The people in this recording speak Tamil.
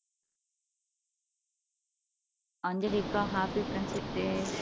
அஞ்சலி அக்கா ஹாப்பி ஃப்ரெண்ட்ஷிப் டே